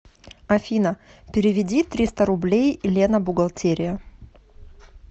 афина переведи триста рублей лена бухгалтерия